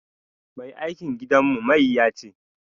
Mai aikin gidanmu mayya ce